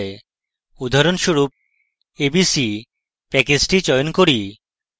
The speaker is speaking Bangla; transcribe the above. উদাহরণস্বরূপ abc প্যাকেজটি চয়ন করি